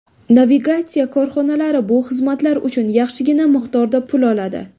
Navigatsiya korxonalari bu xizmatlar uchun yaxshigina miqdorda pul oladi.